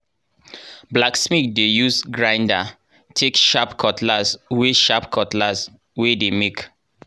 blacksmith dey use grinder take sharp cutlass wey sharp cutlass wey dey make.